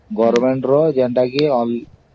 SBI ରେ ହିଁ କାମ ହବ ଆଉ ହବନି କେଉଁଥିରେ ବି